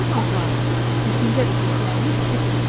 Bizim arzularımız, düşüncə və hisslərimiz çox mühümdür.